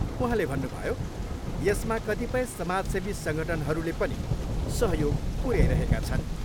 उहाँले भन्नुभयो, यसमा कतिपय सामाजसेवी सङ्गठनहरूले पनि सहयोग पुऱ्याइरहेका छन्।